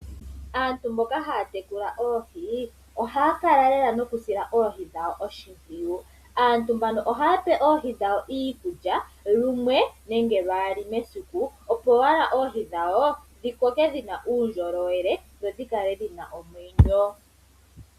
Aantu mboka haya tekula oohi, ohaya kala lela noku sila oohi dhawo oshi mpwiyu. Aantu mbano ohaya pe oohi dhawo iikulya lumwe nenge lwaali mesiku, opo wala oohi dhawo dhi koke dhina uundjolowele dho, dhi kale dhina omwenyo.